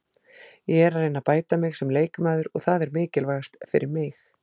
Ég er að reyna að bæta mig sem leikmaður og það er mikilvægast fyrir mig.